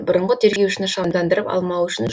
бұрынғы тергеушіні шамдандырып алмау үшін